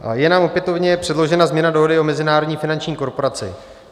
Je nám opětovně předložena změna dohody o Mezinárodní finanční korporaci.